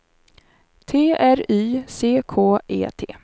T R Y C K E T